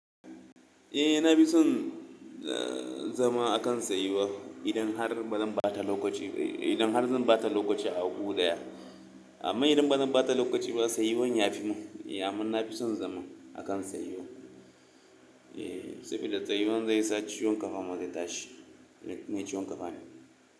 Eh na fi son zama a kan tsayuwa idan har bazan bata lokaci ba, idan har zan bata lokaci a gu daya. Amma idan ba zan bata lokaci ba tsayuwan ya fi mun, amma na fi son zama a kan tsayuwa. Eh, sabida tsayuwan zai sa ciwon kafa ma zai tashi, ni mai ciwon kafa ne.